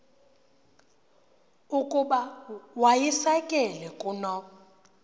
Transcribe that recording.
ukuba wayisakele kuno